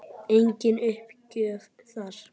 Engin uppgjöf þar.